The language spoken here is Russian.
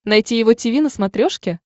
найти его тиви на смотрешке